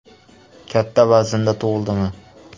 Katta vaznda tug‘ildimi?